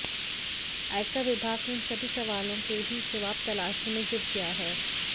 आयकर विभाग इन सभी सवालों के भी जवाब तलाशने में जुट गया है